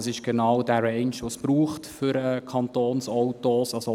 Das ist genau dieser «range», den es für Kantonsautos braucht.